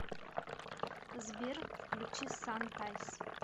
сбер включи сантайс